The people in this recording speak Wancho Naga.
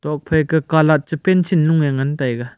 nok phai ka colour che pencil nu ae ngan taega.